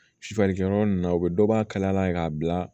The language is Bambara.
Sufɛ yɔrɔ ninnu na u bɛ dɔ bɔ a kalaya la k'a bila